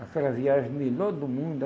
Aquela viagem melhor do mundo.